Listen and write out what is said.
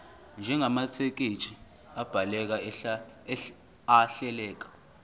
njengamathekisthi abhaleke ahleleka